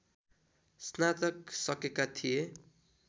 स्नातक सकेका थिए